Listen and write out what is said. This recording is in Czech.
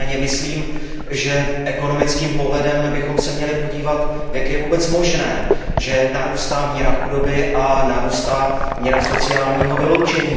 Nicméně myslím, že ekonomickým pohledem bychom se měli podívat, jak je vůbec možné, že narůstá míra chudoby a narůstá míra sociálního vyloučení.